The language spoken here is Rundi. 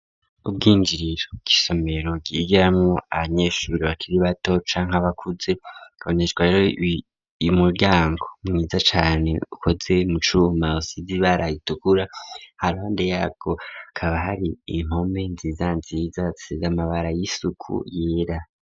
Ubw'injiriro bw'isomero ryigiramwo abanyeshure bakiri bato canke bakuze kaboneshwa ro yimuryango mwiza cane ukoze mu cuma ryi bara ritukura iruhande yako kaba hari impome nziza nziza ,zisizamabara y'isuku yera.